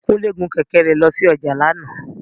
Kúnlé gun kẹ̀kẹ́ rẹ̀ lọ sí ọjà lánàá